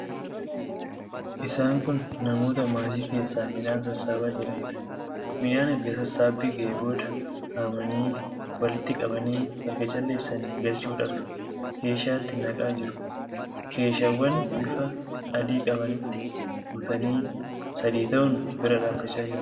Isaan kun namoota maasii keessaa midhaan sassaabaa jiranidha. Midhaan erga sassaabbii ga'ee booda haamanii, walitti qabanii erga calleessanii galchuudhaaf keeshaatti naqaa jiru. Keeshaawwan bifa adii qabanitti guutanii sadii ta'uun bira dhaabbachaa jiru.